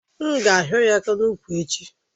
M ga ahio ya aka n'úkwù echi?